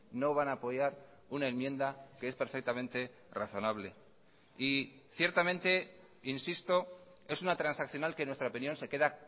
no van a apoyar una enmienda que es perfectamente razonable y ciertamente insisto es una transaccional que en nuestra opinión se queda